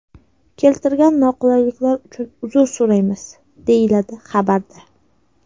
Keltirilgan noqulayliklar uchun uzr so‘raymiz”,deyiladi xabarda.